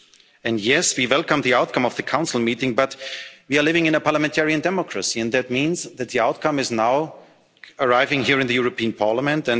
While we welcome the outcome of the Council meeting, we are living in a parliamentary democracy, and that means that the outcome is now arriving here in the European Parliament.